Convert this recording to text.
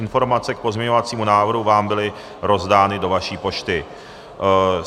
Informace k pozměňovacímu návrhu vám byly rozdány do vaší pošty.